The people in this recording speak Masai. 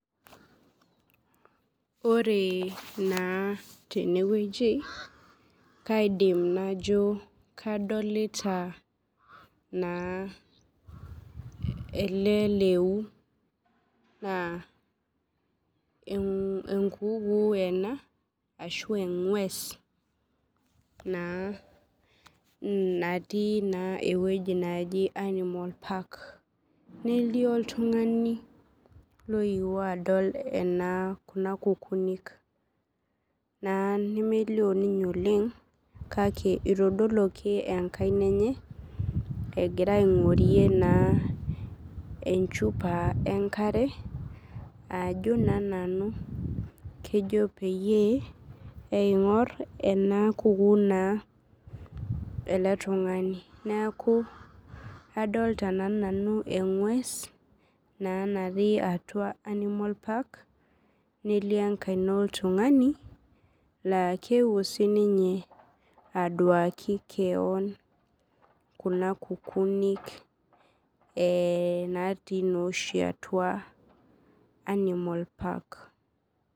Ore na tenewueji kaidim najo kadolta na ele leuu na enkuku ena ashu engwes na natii na ewuji naji national park nelio oltungani loewuo adol kuna kukunik ,nemelio ninye oleng kake itadoluaki enkaina enye egira aingorie naa enchupa enkare ajo keji peyie ingur enakukuu ele tunganu neaku adolta na nanu engwes natii atua national park nelio enkaina oltungani na keewuo sinye aduaki keon kuna kukunik ee natii oshi atua animal park